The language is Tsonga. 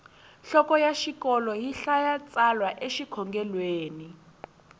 nhloko ya xikolo yi hlaya tsalwa e xikhongelweni